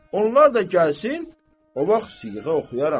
Onlar da gəlsin, o vaxt siğə oxuyaram.